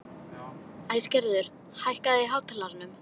Æsgerður, hækkaðu í hátalaranum.